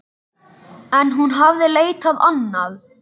En hún hafði leitað annað.